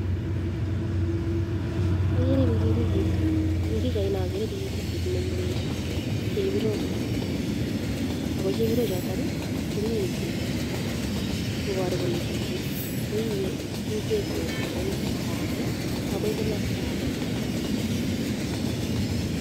Okere pikipiki, en pichaini okere pikipiki neibe chebirok, ak ko chebiroi chotok ko mii ng'wek koboru kolee chichi ko ibee ng'wek kong'eten komosto akee akoii komosto akee.